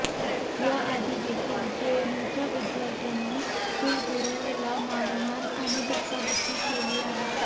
याआधी देखील जेएनयूच्या वि्दयार्थ्यांनी कुलगुरुला मारहाण आणि धक्काबुकी केली आहे